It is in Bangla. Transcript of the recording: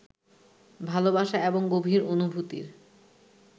ভালবাসা এবং গভীর অনুভূতির